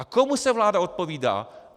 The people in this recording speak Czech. A komu se vláda odpovídá?